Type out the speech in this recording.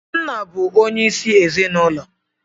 Nna bụ onyeisi ezinụlọ